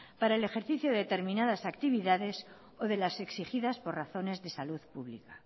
para el ejercicio de determinadas actividades o de las exigidas por razones de salud pública